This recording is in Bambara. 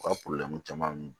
U ka caman